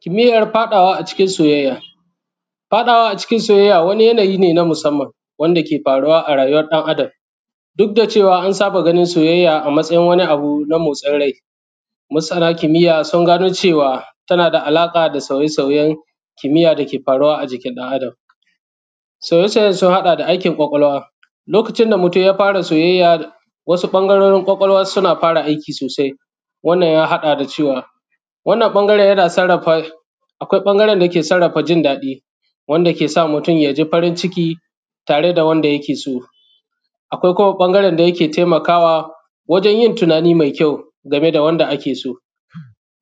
Kimiyan faɗawa a cikin soyayya. Faɗawa a cikin soyayya wani lamari ne na musamman wanda ke faruwa a rayuwan ɗan’Adam duk da an saba ganin soyayya a wani abu na motsin rai, masana kimayya sun gano cewa tana da alaƙa da sauye-sauyen kimiya da ke faruwa a jikin ɗan’Adam, sauye-sauyen sun haɗa da aikin kwakwalwa lokacin da mutun ya fara soyayya, wasu ɓangarorin kwakwalwa suna fara aiki sosai wannan ya haɗa da cewa wannan ɓangaren yana sarrafa, akwai ɓangaren dake sarrafa jin daɗi wanda ke sa mutun ya ji farin ciki tare da wanda yake so. Akwai kuma ɓangaren da yake taimakawa wajen yin tinani me kyau game da wanda ake so,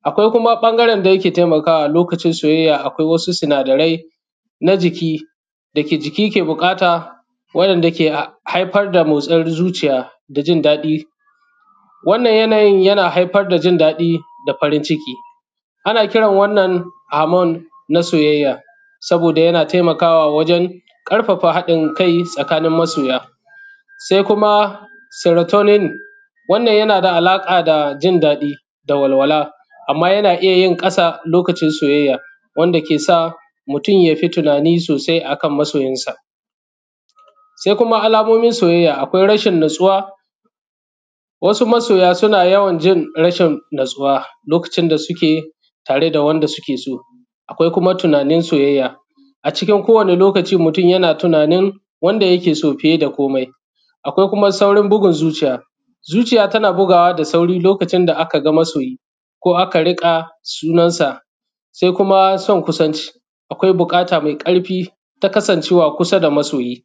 akwai kuma ɓangaren da yake taimakwa lokacin soyayya; akwai wasu sunadarai na jiki da jiki ke buƙata wanda ke haifar da motsin zuciya da jindaɗi, wannan yanayin yana haifar da jindaɗi da farin ciki ana kiran wannan amon na soyayya saboda yana taimakawa wajen haɗinkai na masoya, se kuma seratonomi wannan yana da alaƙa da jindaɗi da walwala. Amma yana iya yin ƙasa lokacin soyayya wanda ke sa mutun ya yi ta tunani sosai akan masoyinsa, se kuma alamomin soyayya, akwai rashin natsuwa, wasu masoya suna yawan jin rashin natsuwa lokacin da suke tare da wanda suke so; akwai kuma tunanin soyayya a cikin ko wani lokaci mutun yana tunanin wanda yake so fiye da komai. Akwai kuma saurin bugun zuciya, zuciya takan bugawa da sauri lokacin da aka ga masoyi ko aka riƙa sunansa se kuma son kusanci, akwai buƙata me ƙarfi na son kasancewa a kusa da masoyi.